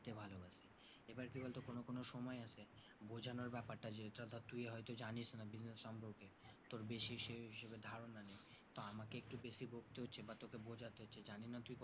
বোঝানোর ব্যাপারটা জেতা ধর তুই হয়তো জানিস না business সম্পর্কে তোর বেশি সেই হিসাবে ধারণা নেই তো আমাকে একটু বেশি বকতে হচ্ছে বা বোঝাতে হচ্ছে জানিনা তুই